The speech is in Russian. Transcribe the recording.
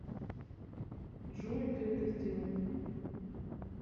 джой ты это сделал